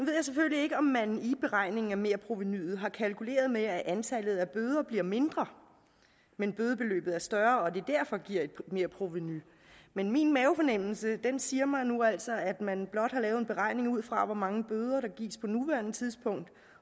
jeg selvfølgelig ikke om man i beregningen af merprovenuet har kalkuleret med at antallet af bøder bliver mindre men at bødebeløbet er større og det derfor giver et merprovenu men min mavefornemmelse siger mig nu altså at man blot har lavet en beregning ud fra hvor mange bøder der gives på nuværende tidspunkt